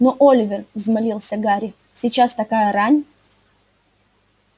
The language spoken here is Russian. но оливер взмолился гарри сейчас такая рань